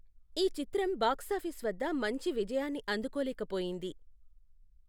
ఈ చిత్రం బాక్సాఫీస్ వద్ద మంచి విజయాన్ని అందుకోలేకపోయింది.